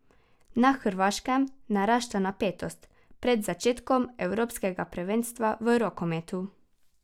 Na Hrvaškem narašča napetost pred začetkom evropskega prvenstva v rokometu.